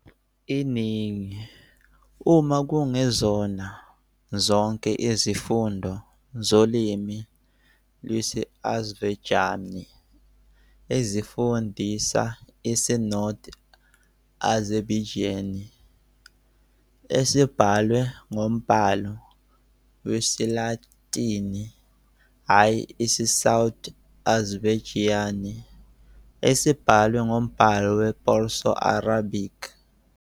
Iningi, uma kungezona zonke izifundo zolimi lwesi-Azerbaijani ezifundisa isi-North Azerbaijani esibhalwe ngombhalo wesiLatini hhayi isi-South Azerbaijani esibhalwe ngombhalo we-Perso-Arabic.